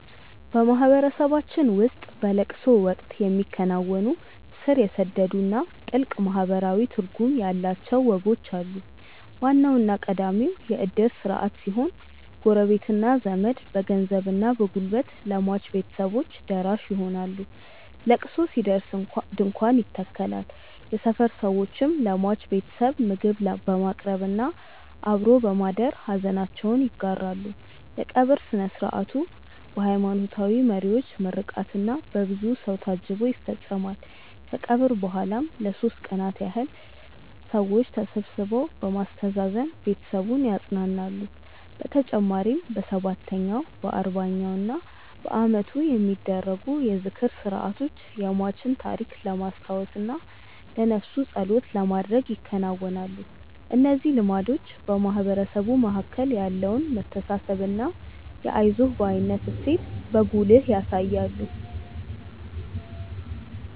በማህበረሰባችን ውስጥ በለቅሶ ወቅት የሚከናወኑ ስር የሰደዱና ጥልቅ ማህበራዊ ትርጉም ያላቸው ወጎች አሉ። ዋናውና ቀዳሚው የእድር ስርዓት ሲሆን፣ ጎረቤትና ዘመድ በገንዘብና በጉልበት ለሟች ቤተሰቦች ደራሽ ይሆናሉ። ለቅሶ ሲደርስ ድንኳን ይተከላል፣ የሰፈር ሰዎችም ለሟች ቤተሰብ ምግብ በማቅረብና አብሮ በማደር ሐዘናቸውን ይጋራሉ። የቀብር ሥነ ሥርዓቱ በሃይማኖታዊ መሪዎች ምርቃትና በብዙ ሰው ታጅቦ ይፈጸማል። ከቀብር በኋላም ለሦስት ቀናት ያህል ሰዎች ተሰብስበው በማስተዛዘን ቤተሰቡን ያጸናናሉ። በተጨማሪም በሰባተኛው፣ በአርባኛውና በዓመቱ የሚደረጉ የዝክር ሥርዓቶች የሟችን ታሪክ ለማስታወስና ለነፍሱ ጸሎት ለማድረግ ይከናወናሉ። እነዚህ ልማዶች በማህበረሰቡ መካከል ያለውን መተሳሰብና የአይዞህ ባይነት እሴትን በጉልህ ያሳያሉ።